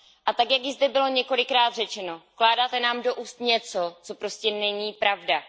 A tak, jak již zde bylo několikrát řečeno, vkládáte nám do úst něco, co prostě není pravda.